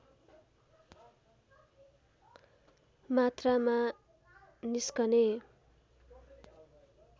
मात्रामा निस्कने